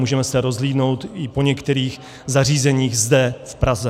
Můžeme se rozhlédnout i po některých zařízeních zde v Praze.